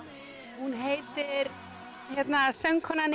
hún heitir hérna söngkonan í